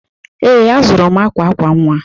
Ee, azụrụ m akwa akwa nwa.